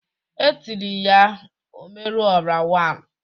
E tiri ya "Omeru ora one."